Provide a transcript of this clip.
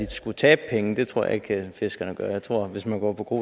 de skulle tabe penge det tror jeg ikke fiskerne gør jeg tror at hvis man går på kro